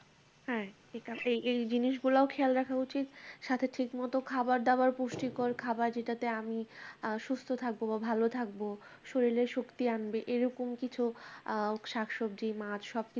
হ্যাঁ ঠিক আছে এই এই জিনিসগুলোও খেয়াল রাখা উচিত সাথে ঠিক মতো খাবার দাবার পুষ্টিকর খাবার যেটাতে আমি আ সুস্থ থাকবো বা ভালো থাকবো শরীরে শক্তি আনবে এই রকম কিছু আ শাকসবজি মাছ সব